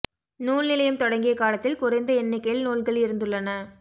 நூல் நிலையம் தொடங்கிய காலத்தில் குறைந்த எண்ணிக்கையில் நூல்கள் இருந்துள்ளன